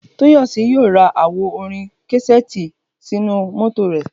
Toyosi yóò ra àwo Orin káséètî sínú mótò rè